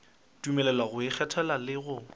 dumelelwa go ikgethela le go